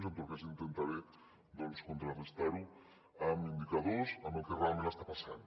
jo en tot cas intentaré contrarestar ho amb indicadors amb el que realment està passant